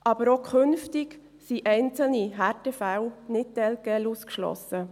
Aber auch künftig sind einzelne Härtefälle nicht telquel ausgeschlossen.